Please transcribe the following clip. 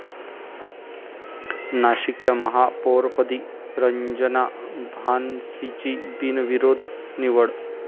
नाशिकच्या महापौरपदी रंजना भानसींची बिनविरोध निवड